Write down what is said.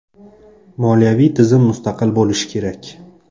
Moliyaviy tizim mustaqil bo‘lishi kerak.